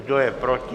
Kdo je proti?